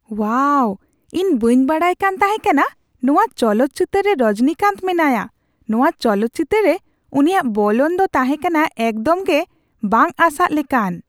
ᱳᱣᱟᱦ! ᱤᱧ ᱵᱟᱹᱧ ᱵᱟᱰᱟᱭᱠᱟᱱ ᱛᱟᱦᱮᱸᱠᱟᱱᱟ ᱱᱚᱣᱟ ᱪᱚᱞᱚᱛ ᱪᱤᱛᱟᱹᱨ ᱨᱮ ᱨᱚᱡᱚᱱᱤᱠᱟᱱᱛᱚ ᱢᱮᱱᱟᱭᱟ ᱾ ᱱᱚᱣᱟ ᱪᱚᱞᱚᱛ ᱪᱤᱛᱟᱹᱨ ᱨᱮ ᱩᱱᱤᱭᱟᱜ ᱵᱚᱞᱚᱱ ᱫᱚ ᱛᱟᱦᱮᱸᱠᱟᱱᱟ ᱮᱠᱫᱚᱢ ᱜᱮ ᱵᱟᱝ ᱟᱥᱟᱜ ᱞᱮᱠᱟᱱ ᱾